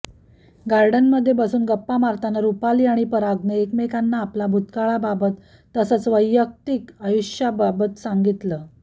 गार्डनमध्ये बसून गप्पा मारताना रुपाली आणि परागने एकमेकांना आपला भूतकाळबाबत तसंच वैयक्तिक आयुष्याबाबत सांगितलं